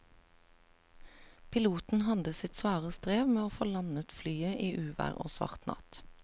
Piloten hadde sitt svare strev med å få landet flyet i uvær og svart natt.